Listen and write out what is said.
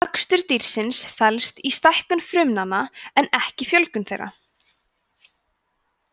vöxtur dýrsins felst í stækkun frumnanna en ekki fjölgun þeirra